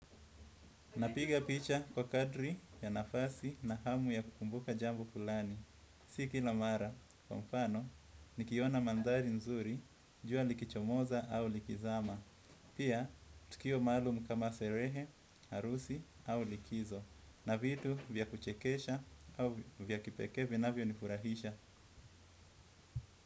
Napiga picha kwa kadri ya nafasi na hamu ya kukumbuka jambo fulani Siki la mara, kwa mfano, nikiona mandari nzuri, jua likichomoza au likizama. Pia, tukio malum kama serehe, arusi au likizo. Na vitu vya kuchekesha au vya kipeke vina vya nifurahisha.